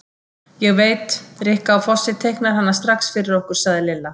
Ég veit, Rikka á Fossi teiknar hana strax fyrir okkur sagði Lilla.